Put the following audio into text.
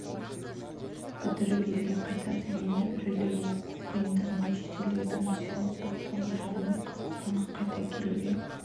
бітіріп елге қайтады енді біреулері оқу қиындығы мен шетелдегі тұрмыстық ауыртпалықтарға шыдамай қазақстанға қайта келуге